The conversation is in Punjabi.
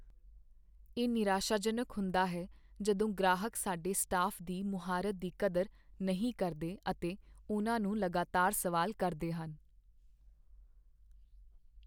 ਇਹ ਨਿਰਾਸ਼ਾਜਨਕ ਹੁੰਦਾ ਹੈ ਜਦੋਂ ਗ੍ਰਾਹਕ ਸਾਡੇ ਸਟਾਫ਼ ਦੀ ਮੁਹਾਰਤ ਦੀ ਕਦਰ ਨਹੀਂ ਕਰਦੇ ਅਤੇ ਉਹਨਾਂ ਨੂੰ ਲਗਾਤਾਰ ਸਵਾਲ ਕਰਦੇ ਹਨ।